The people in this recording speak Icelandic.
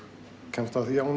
kemst að því að hún